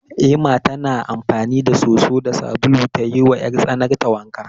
Ema tana amfani da soso da sabulu ta yiwa 'yartsanarta wanka.